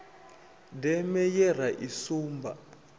deme ye ra i sumba